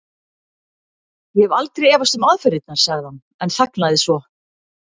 Ég hef aldrei efast um aðferðirnar. sagði hann en þagnaði svo.